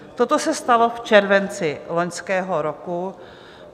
Toto se stalo v červenci loňského roku.